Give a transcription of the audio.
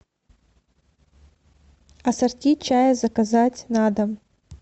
ассорти чая заказать на дом